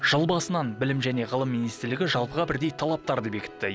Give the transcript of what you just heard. жыл басынан білім және ғылым министрілігі жалпыға бірдей талаптарды бекітті